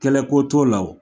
Kɛlɛ ko t'o la o